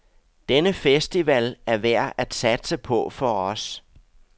Denne festival er værd at satse på for os.